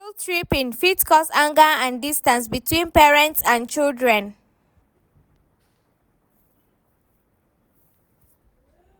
Guilt-tripping fit cause anger and distance between parents and children.